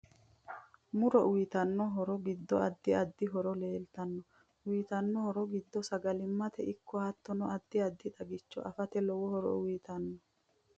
Muro uyiitanno horo giddo addi addi horo leeltanno uyiitanno horo giddo sagalimate ikko hattono addi addi xagicho afate lowo horo uyiitanno